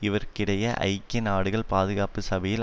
இவற்றுக்கிடையே ஐக்கிய நாடுகள் பாதுகாப்பு சபையில்